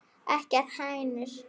Ekki hænur?